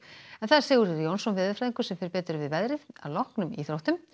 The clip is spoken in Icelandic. Sigurður Jónsson veðurfræðingur fer betur yfir veðrið að loknum íþróttum